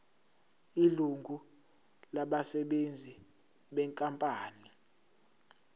ilungu labasebenzi benkampani